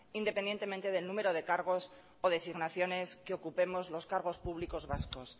independientemente del número de cargos o designaciones que ocupemos los cargos públicos vascos